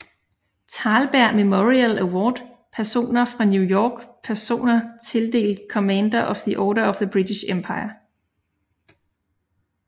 Thalberg Memorial Award Personer fra New York Personer tildelt Commander of the Order of the British Empire